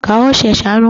Kawo shi ya sha nono